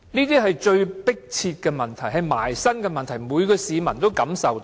這些是迫切的問題，是切身的問題，是每個市民也能感受到的。